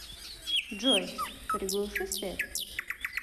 джой приглуши свет